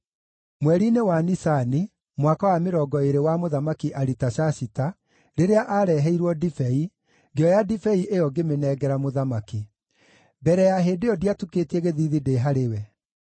Mweri-inĩ wa Nisani, mwaka wa mĩrongo ĩĩrĩ wa Mũthamaki Aritashashita, rĩrĩa aareheirwo ndibei, ngĩoya ndibei ĩyo ngĩmĩnengera mũthamaki. Mbere ya hĩndĩ ĩyo ndiatukĩtie gĩthiithi ndĩ harĩ we;